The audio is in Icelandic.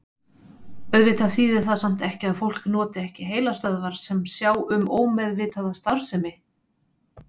Auðvitað þýðir það samt ekki að fólk noti ekki heilastöðvar sem sjá um ómeðvitaða starfsemi.